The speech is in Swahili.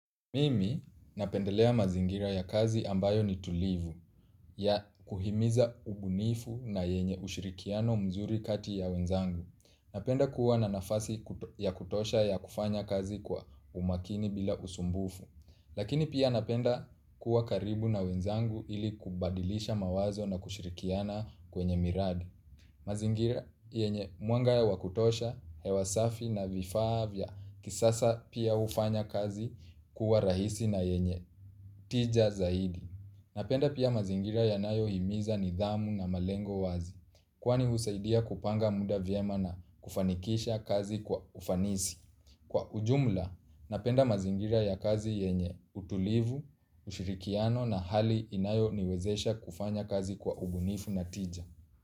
Mimi napendelea mazingira ya kazi ambayo ni tulivu, ya kuhimiza ubunifu na yenye ushirikiano mzuri kati ya wenzangu. Napenda kuwa na nafasi ya kutosha ya kufanya kazi kwa umakini bila usumbufu. Lakini pia napenda kuwa karibu na wenzangu ili kubadilisha mawazo na kushirikiana kwenye miradi. Mazingira yenye mwanga ya wa kutosha, hewa safi na vifaa vya kisasa pia hufanya kazi kuwa rahisi na yenye tija zaidi. Napenda pia mazingira yanayohimiza nidhamu na malengo wazi, kwani husaidia kupanga muda vyema na kufanikisha kazi kwa ufanisi. Kwa ujumla, napenda mazingira ya kazi yenye utulivu, ushirikiano na hali inayoniwezesha kufanya kazi kwa ubunifu na tija.